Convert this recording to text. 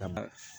Ka ban